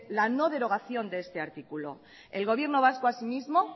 la no derogación de este artículo el gobierno vasco asimismo